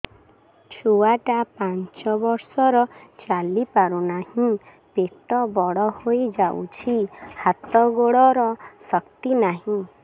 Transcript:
ଛୁଆଟା ପାଞ୍ଚ ବର୍ଷର ଚାଲି ପାରୁନାହଁ ପେଟ ବଡ ହୋଇ ଯାଉଛି ହାତ ଗୋଡ଼ର ଶକ୍ତି ନାହିଁ